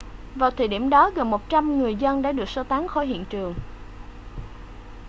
vào thời điểm đó gần 100 người dân đã được sơ tán khỏi hiện trường